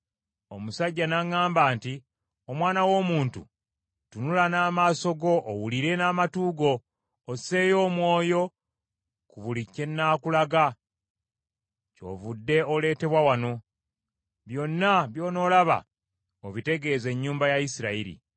Omusajja n’aŋŋamba nti, “Omwana w’omuntu, tunula n’amaaso go owulire n’amatu go osseeyo omwoyo ku buli kye nnaakulaga, kyovudde oleetebwa wano. Byonna by’onoolaba obitegeeze ennyumba ya Isirayiri.”